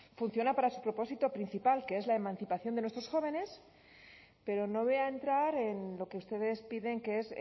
funciona para su propósito principal que es la emancipación de nuestros jóvenes pero no voy a entrar en lo que ustedes piden que es